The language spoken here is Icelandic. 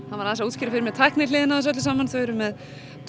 hann var aðeins að útskýra fyrir mér tæknihliðina á þessu öllu saman þau eru með